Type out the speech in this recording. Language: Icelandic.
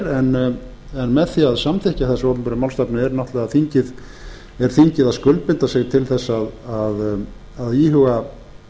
en með því að samþykkja þessa opinberu málstefnu er þingið að skuldbinda sig til þess að íhuga